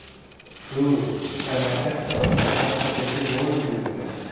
Hugrún: Þannig að þetta á eftir að hjálpa þér fyrir Ólympíuleikana?